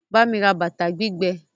Bámi ra ata gbígbẹ!